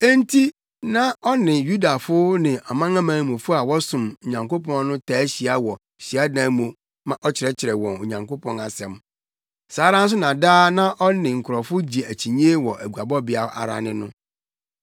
Enti na ɔne Yudafo ne amanamanmufo a wɔsom Onyankopɔn no taa hyia wɔ hyiadan mu ma ɔkyerɛkyerɛ wɔn Onyankopɔn asɛm. Saa ara nso na daa na ɔne nkurɔfo gye akyinnye wɔ aguabɔbea ara ne no.